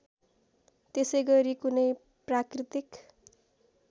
त्यसैगरी कुनै प्राकृतिक